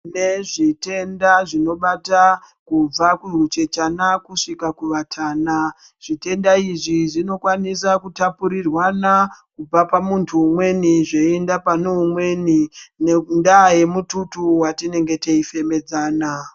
Tine zvitenda zvinobata kubva kuhuchechana kusvika kuvatana, zvitenda izvi zvinokwanisa kutapurirwana kubva pamunthu umweni zveienda pane umweni ngendaa yemututu wetinenge teifemedzana.